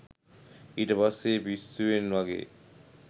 ඊට පස්සෙ පිස්සුවෙන් වගේ